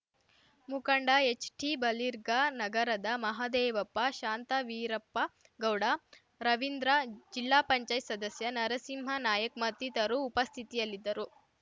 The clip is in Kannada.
ಮುಖಂಡ ಎಚ್‌ಟಿ ಬಲಿರ್ಗಾನಗರದ ಮಹಾದೇವಪ್ಪ ಶಾಂತವೀರಪ್ಪಗೌಡ ರವೀಂದ್ರ ಜಿಲ್ಲಾಪಂಚಾಯತ್ ಸದಸ್ಯ ನರಸಿಂಹನಾಯ್ಕ ಮತ್ತಿತರು ಉಪಸ್ಥಿತಿಯಲ್ಲಿದ್ದರು